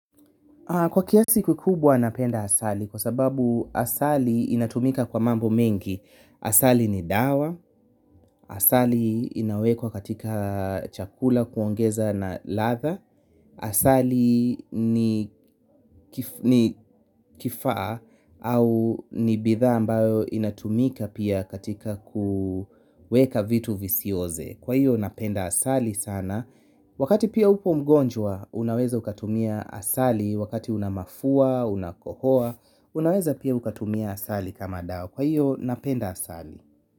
Kwa kiasi kikubwa napenda asali kwa sababu asali inatumika kwa mambo mengi asali ni dawa, asali inawekwa katika chakula kuongeza na latha, asali ni ni kifaa au ni bidhaa ambayo inatumika pia katika kuweka vitu visioze. Kwa hiyo napenda asali sana wakati pia uko mgonjwa unaweza ukatumia asali wakati unamafua, unakohoa unaweza pia ukatumia asali kama dawa, kwa hio napenda asali.